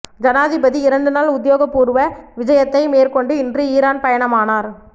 ஜனாதிபதி இரண்டு நாள் உத்தியோகபூர்வ விஜயத்தை மேற்கொண்டு இன்று ஈரான் பயணமானார்